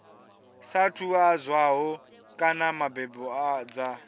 saathu ḓadzwaho kana mbadelo dza